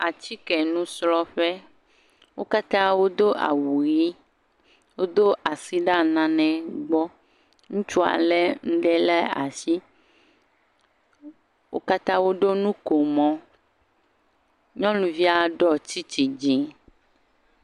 Atike nusrɔ̃ƒe. Wo katã wodo awu ʋi, wodo asi ɖa nanegbɔ. Ŋutsua le nuɖe ɖe asi. Wo katã woɖo nukomo. Nyɔnuvia ɖɔ tsitsi dzi.